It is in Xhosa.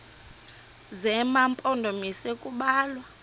zema mpondomise kubalwa